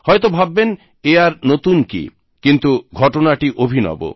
হয়তো ভাববেন এ আর নতুন কি কিন্তু ঘটনাটি অভিনব